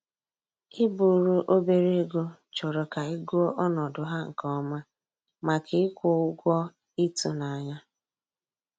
I buru obere ego chọrọ ka ị gụọ ọnọdụ ha nke ọma, maka ịkwụ ụgwọ ịtụnanya